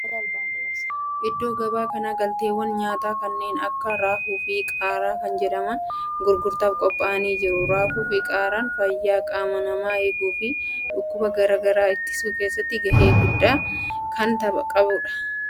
Iddoo gabaa kana galteewwan nyaataa kanneen akka raafuu fi qaaraa kan jedhaman gurgurtaaf qophaa'anii jiru. Raafuuu fi qaaraan fayyaa qaama namaa eegu fi dhukkuba garaa garaa ittisuu keessatti gahee guddaa kan qabanidha.